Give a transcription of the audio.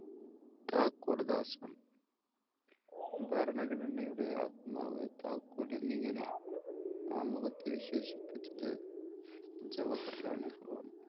താക്കൂർ ദാസ് ആണ്. ഭരണഘടനയുടെ ആത്മാവ്, താക്കോൽ എന്നിങ്ങനെ ആമുഖത്തെ വിശേഷിപ്പിച്ചത് ജവഹർലാൽ നെഹ്‌റു ആണ്.